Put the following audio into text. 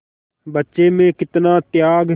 बच्चे में कितना त्याग